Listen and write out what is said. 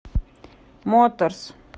моторс